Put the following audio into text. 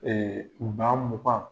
ba mugan